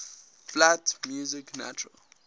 flat music natural